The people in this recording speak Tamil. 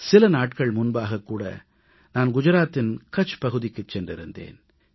சில நாட்கள் முன்பாக நான் குஜராத்தின் கட்ச் பகுதிக்குச் சென்றிருந்தேன்